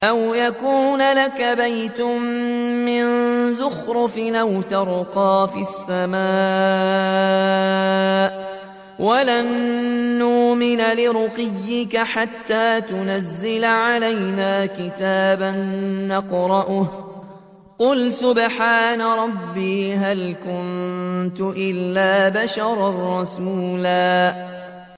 أَوْ يَكُونَ لَكَ بَيْتٌ مِّن زُخْرُفٍ أَوْ تَرْقَىٰ فِي السَّمَاءِ وَلَن نُّؤْمِنَ لِرُقِيِّكَ حَتَّىٰ تُنَزِّلَ عَلَيْنَا كِتَابًا نَّقْرَؤُهُ ۗ قُلْ سُبْحَانَ رَبِّي هَلْ كُنتُ إِلَّا بَشَرًا رَّسُولًا